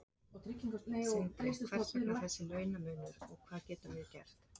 Sindri: Hvers vegna þessi launamunur og hvað getum við gert?